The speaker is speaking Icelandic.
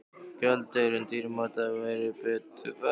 Gjaldeyrinum dýrmæta væri betur varið í annað.